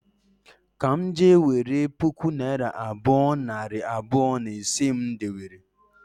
Ka m je nwere puku naịra abụọ, nari abụọ, na ise m dewere